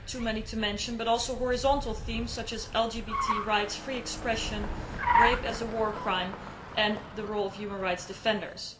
there are too many to mention but also horizontal themes such as LGBT rights, free expression, rape as a war crime and the role of human rights defenders.